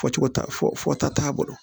Fɔ cogo ta fɔta t'a bolo